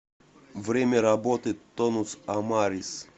время работы тонус амарис